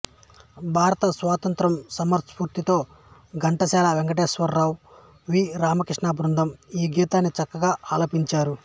భారత స్వాతంత్ర్య సమరస్పూర్తితో ఘంటసాల వెంకటేశ్వరరావు వి రామకృష్ణ బృందం ఈ గీతాన్ని చక్కగా ఆలపించారు